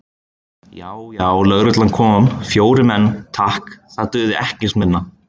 Já, já, lögreglan kom, fjórir menn, takk, það dugði ekkert minna!